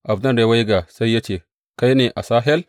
Abner ya waiga, sai ya ce, Kai ne, Asahel?